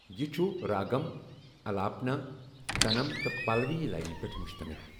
یہِ چھُ راگم، الاپنا، تنم تہٕ پلوی لائنہِ پیٹھ مُشتمِل۔